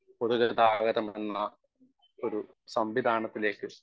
speaker 1 പൊതു ഗതാഗതമെന്ന ഒരു സംവിധാനത്തിലേക്ക്